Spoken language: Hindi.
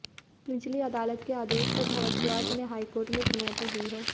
निचली अदालत के आदेश को भारद्वाज ने हाईकोर्ट में चुनौती दी है